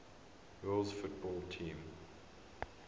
rules football teams